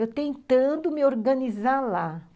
Eu tentando me organizar lá.